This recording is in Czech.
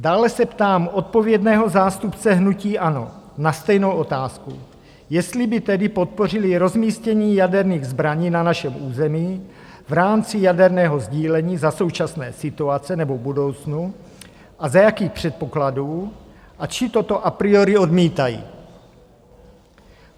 Dále se ptám odpovědného zástupce hnutí ANO na stejnou otázku, jestli by tedy podpořili rozmístění jaderných zbraní na našem území v rámci jaderného sdílení za současné situace nebo v budoucnu a za jakých předpokladů, či toto a priori odmítají?